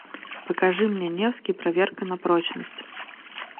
покажи мне невский проверка на прочность